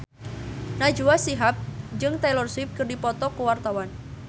Najwa Shihab jeung Taylor Swift keur dipoto ku wartawan